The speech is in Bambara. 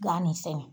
Gan nin sɛnɛ